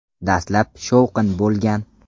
Dastlab shovqin bo‘lgan.